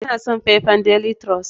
Ina son faifan daily trust.